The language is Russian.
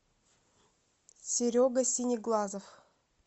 серега синеглазов